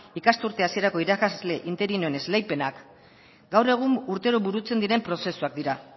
ikasturte hasierako irakasle interinoen esleipenak gaur egun urtero burutzen diren prozesuak dira